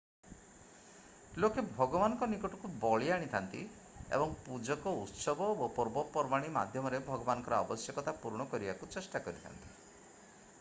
ଲୋକେ ଭଗବାନଙ୍କ ନିକଟକୁ ବଳି ଆଣିଥାନ୍ତି ଏବଂ ପୂଜକ ଉତ୍ସବ ଓ ପର୍ବପର୍ବାଣି ମାଧ୍ୟମରେ ଭଗବାନଙ୍କର ଆବଶ୍ୟକତା ପୂରଣ କରିବାକୁ ଚେଷ୍ଟା କରିଥାନ୍ତି